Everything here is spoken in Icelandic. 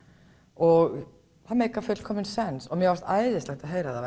og það meikar fullkominn sens mér fannst æðislegt að heyra það